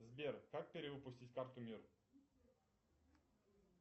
сбер как перевыпустить карту мир